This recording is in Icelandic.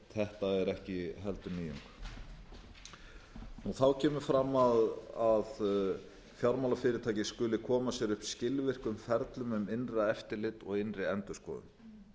þetta er ekki heldur nýjung þá kemur fram að fjármálafyrirtæki skuli koma sér upp skilvirkum ferlum um innra eftirlit og innri endurskoðun